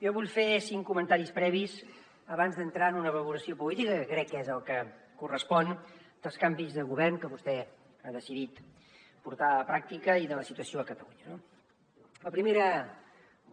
jo vull fer cinc comentaris previs abans d’entrar en una valoració política que crec que és el que correspon als canvis de govern que vostè ha decidit portar a la pràctica i de la situació a catalunya no la primera